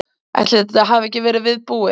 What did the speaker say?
Ætli þetta hafi ekki verið viðbúið.